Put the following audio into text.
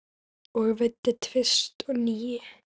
Og veiddi tvist og NÍU.